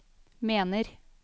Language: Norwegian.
mener